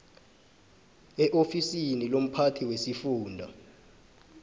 eofisini lomphathi wesifunda